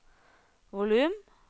volum